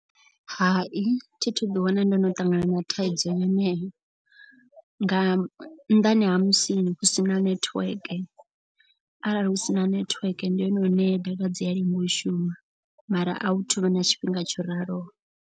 Hai thi thu ḓi wana ndo no ṱangana na thaidzo yeneyo. Nga nnḓani ha musini hu si na netiweke arali hu sina network ndi hone hune data dzi a lenga u shuma. Mara a hu thuvha na tshifhinga tsho raloho.